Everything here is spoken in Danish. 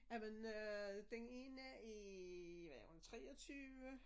Jamen øh den ene er hvad er hun 23